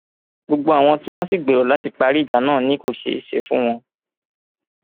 gbogbo àwọn tí wọn sì gbèrò láti parí ìjà náà ni kò ṣeé ṣe fún wọn